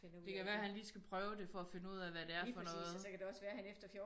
Det kan være han lige skal prøve det for at finde ud af hvad det er for noget